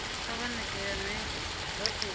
kha vha ṋekane nga khophi